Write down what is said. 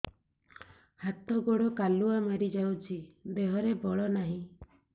ହାତ ଗୋଡ଼ କାଲୁଆ ମାରି ଯାଉଛି ଦେହରେ ବଳ ନାହିଁ